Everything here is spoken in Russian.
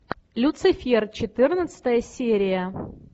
люцифер четырнадцатая серия